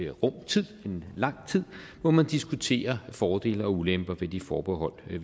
rum tid en lang tid hvor man diskuterer fordele og ulemper ved det forbehold vi